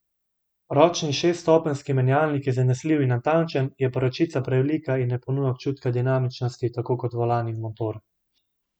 Ročni šeststopenjski menjalnik je zanesljiv in natančen, je pa ročica prevelika in ne ponuja občutka dinamičnosti, tako kot volan in motor.